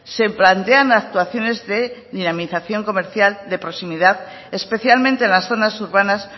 se plantean actuaciones de dinamización comercial de proximidad especialmente en las zonas urbanas